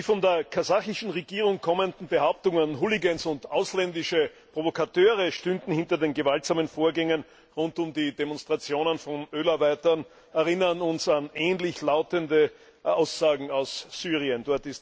Die von der kasachischen Regierung kommenden Behauptungen, Hoolligans und ausländische Provokateure stünden hinter den gewaltsamen Vorgängen rund um die Demonstrationen von Ölarbeitern, erinnern uns an ähnlich lautende Aussagen aus Syrien.